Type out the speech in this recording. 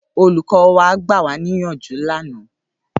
Ólúkọ̀ wà gbàwániyánjú làná